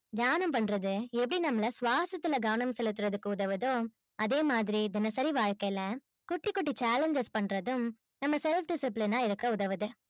தியானம் பண்றது எப்படி நம்மல ஸ்வாசத்துள்ள கவனம் செலுத்துறதுக்கு உதவுதோ அதேமாதிரி தினசரி வாழ்க்கையில குட்டி குட்டி challenges பண்றதும் நம்ம self discipline ஆ இருக்க உதவுது